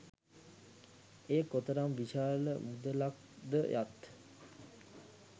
එය කොතරම් විශාල මුදලක් ද යත්